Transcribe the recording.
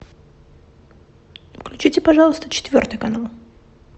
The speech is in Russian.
включите пожалуйста четвертый канал